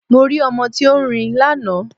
Mo rí ọmọ tí ó ń rin lánàá